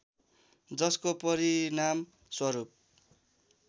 जसको परिणामस्वरूप